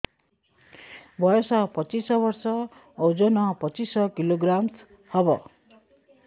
ବୟସ ପଚିଶ ବର୍ଷ ଓଜନ ପଚିଶ କିଲୋଗ୍ରାମସ ହବ